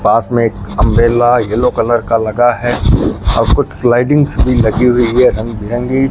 पास में एक umbrella yellow colour का लगा है और कुछ स्लाइडिंग्स भी लगी हुई है रंग बिरंगी।